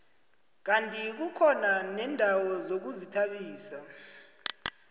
kandi kukhona neendawo zokuzithabisa